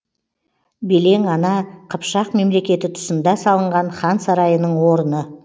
белең ана қыпшақ мемлекеті тұсында салынған хан сарайының орны